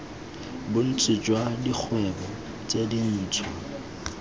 bontsi jwa dikgwebo tse dintshwa